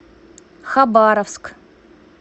хабаровск